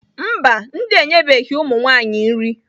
Mba, ndị a enyebeghị ụmụ nwanyị nri.